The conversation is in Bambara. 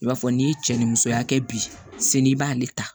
I b'a fɔ n'i ye cɛ ni musoya kɛ bi seli i b'ale ta